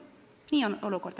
Selline on olukord.